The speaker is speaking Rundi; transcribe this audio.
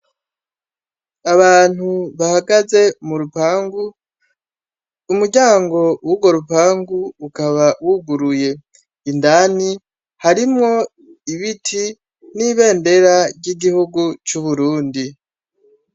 Abantu bahagaze mu rupangU, umuryango w'urwo rupangu ukaba wuguruye. Indani harimwo ibiti n'ibendera ry'igihugu c'Uburundi.